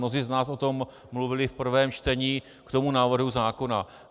Mnozí z nás o tom mluvili v prvém čtení k tomu návrhu zákona.